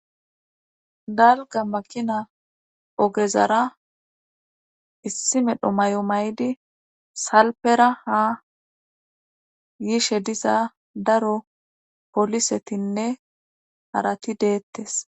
dalga maqina ogezara issi medho may7o may7di salpera ha yiishe diza daro polisetinne harati deettes